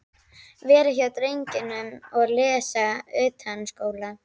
Vera hjá drengnum og lesa utanskóla.